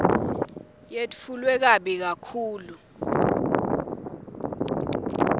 yetfulwe kabi kakhulu